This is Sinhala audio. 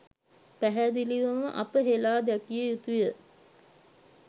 පැහැදිලිවම අප හෙළා දැකිය යුතුය.